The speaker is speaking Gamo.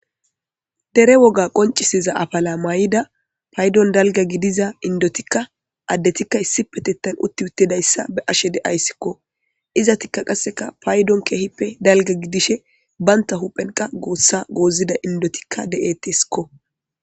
dere woga qoncisiza afala may7ida paydon dalga gidiza indotikka addetikka issi petettan utti uttedayssa be'ashe de7ayssikko iza tikka qaseka paydon keehippe dalga gidishe baynta huphenqa goossa goozida indotikka de7eteskko